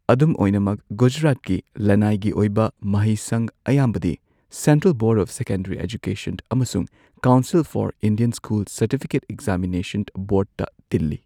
ꯑꯗꯨꯝ ꯑꯣꯏꯅꯃꯛ, ꯒꯨꯖꯔꯥꯠꯀꯤ ꯂꯅꯥꯏꯒꯤ ꯑꯣꯏꯕ ꯃꯍꯩꯁꯪ ꯑꯌꯥꯝꯕꯗꯤ central board of secondary education ꯑꯃꯁꯨꯡ council for Indian school certificate examination ꯕꯣꯔꯗꯇ ꯇꯤꯜꯂꯤ꯫